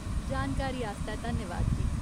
जानकारी आस्तै धन्यवाद, जी ।